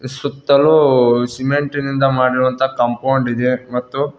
ಸುತ್ತಲೂ ಸಿಮೆಂಟ್ ನಿಂದ ಮಾಡಿರುವಂತ ಕಾಂಪೌಂಡ್ ಇದೆ ಮತ್ತು.